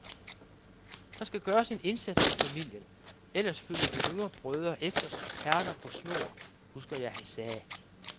Der skal gøres en indsats i familien, ellers følger de yngre brødre efter som perler på snor, husker jeg han sagde.